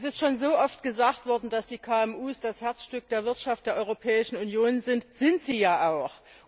Es ist schon so oft gesagt worden, dass die KMU das Herzstück der Wirtschaft der Europäischen Union sind, und das sind sie ja auch.